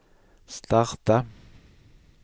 starta